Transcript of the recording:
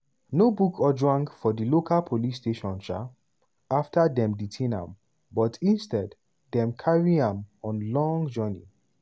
no book ojwang for di local police station um afta dem detain am but instead dem carry am on long journey.